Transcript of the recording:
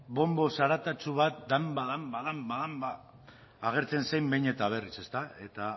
bonbo zaratatsu bat danba danba danba danba agertzen zen behin eta berriz eta